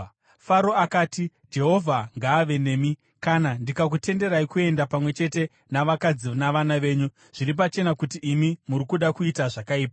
Faro akati, “Jehovha ngaave nemi, kana ndikakutenderai kuenda, pamwe chete navakadzi navana venyu! Zviri pachena kuti imi muri kuda kuita zvakaipa.